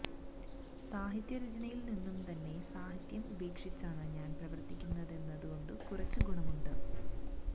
സാഹിത്യരചനയിൽനിന്നു തന്നെ സാഹിത്യം ഉപേക്ഷിച്ചാണ് ഞാൻ പ്രവർത്തിക്കുന്നതെന്നതു കൊണ്ട് കുറച്ചു ഗുണമുണ്ട്